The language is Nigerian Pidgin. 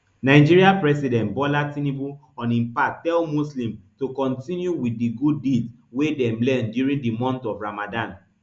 nigeria president bola tinubu on im part tell muslims to kontinu wit di good deeds wey dem learn during di month of ramadan